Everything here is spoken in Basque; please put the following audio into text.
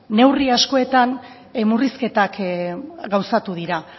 neurri askotan murrizketak gauzatu dira